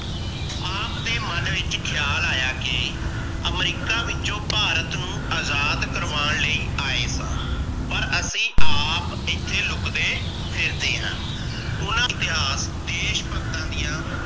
ਆਪ ਦੇ ਮਨ ਵਿਚ ਖਿਆਲ ਆਇਆ ਕਿ ਅਮਰੀਕਾ ਵਿੱਚੋ ਭਾਰਤ ਨੂੰ ਆਜ਼ਾਦ ਕਰਵਾਣ ਲਾਇ ਆਏ ਸਾ ਪਰ ਅਸੀ ਆਪ ਏਥੇ ਲੁੱਕਦੇ ਫਿਰਦੇ ਹੈ। ਉਹਨਾਂ ਇਤਿਹਾਸ ਦੇਸ਼ ਭਗਤਾ ਦੀਆ